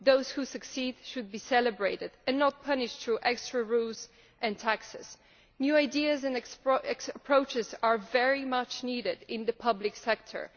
Those who succeed should be celebrated and not punished through extra rules and taxes. New ideas and approaches are very much needed in the public sector.